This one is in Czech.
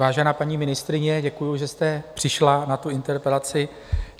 Vážená paní ministryně, děkuji, že jste přišla na tu interpelaci.